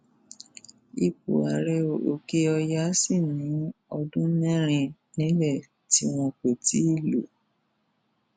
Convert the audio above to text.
ipò ààrẹòkèọyà sì ni ọdún mẹrin nílẹ tí wọn kò tí ì lọ